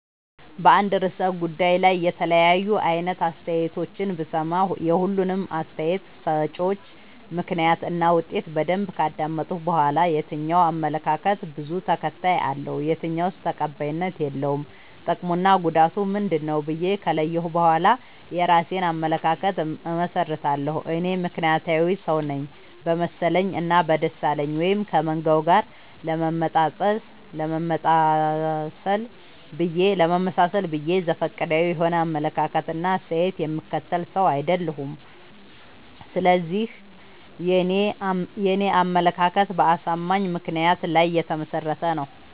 በአንድ እርሰ ጉዳይ ላይ የተለያዩ አይነት አስተያየቶችን ብሰማ። የሁሉንም አስታየት ሰጭወች ምክንያት እና ውጤት በደንብ ካዳመጥኩ በኋላ። የትኛው አመለካከት በዙ ተከታይ አለው። የትኛውስ ተቀባይነት የለውም ጥቅምና ጉዳቱ ምንድ ነው ብዬ ከለየሁ በኋላ የእራሴን አመለካከት አመሠርታለሁ። እኔ ምክንያታዊ ሰውነኝ በመሰለኝ እና በደሳለኝ ወይም ከመንጋው ጋር ለመመጣሰል ብዬ ዘፈቀዳዊ የሆነ አመለካከት እና አስተያየት የምከተል ሰው። አይደለሁም ስለዚህ የኔ አመለካከት በአሳማኝ ምክንያት ላይ የተመሰረተ ነው።